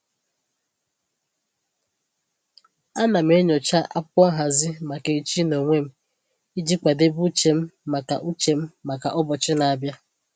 Ana m enyocha akwụkwọ nhazi maka echi n'onwe m iji kwadebe uche m maka uche m maka ụbọchị na-abịa